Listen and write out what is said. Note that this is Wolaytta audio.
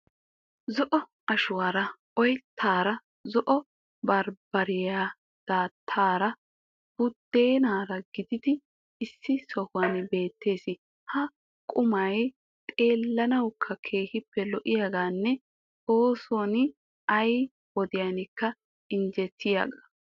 Zo'o ashuwara oyttaara, zo'o barbbariya daattaara, buddeenaara giigidi issi sohuwan beettees. Ha qumay xeellanawukka keehippe lo'iyagaanne oossinne ay wodiyankka injjetiyagaa.